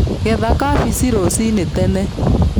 Getha kabeci rũcinĩ tene.